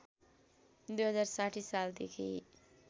२०६० साल देखि